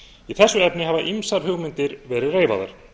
í þessu efni hafa ýmsar hugmyndir verið reifaðar